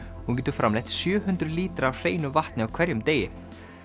hún getur framleitt sjö hundruð lítra af hreinu vatni á hverjum degi